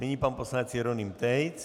Nyní pan poslanec Jeroným Tejc.